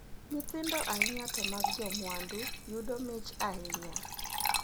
Nyithindo ahinya to mag jomwandu yudo mich ahinya.